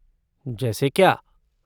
जैसे क्या?